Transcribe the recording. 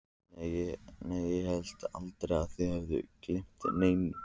Nei, ég hélt aldrei að þið hefðuð gleymt neinu.